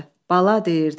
Bala deyirdi: